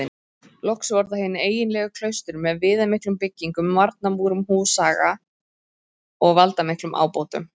Loks voru það hin eiginlegu klaustur með viðamiklum byggingum, varnarmúrum, húsaga og valdamiklum ábótum.